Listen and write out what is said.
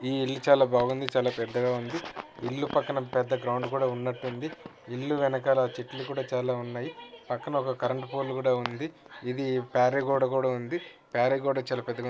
ఈ ఇల్లు చాలా బాగుంది ఇల్లు చాలా పెద్దగా వుంది ఇల్లు పక్కన పెద్ద గ్రౌండ్ ఉన్నాటూవుంది ఇల్లు వెనకల చెట్లు కూడా చాలా వున్నాయి పక్కన ఒక కరెంటు పోల్ కూడా వుంది ఇది ప్రహరీ గోడ ప్రహరీ గోడ చాలా పెద్దగ --.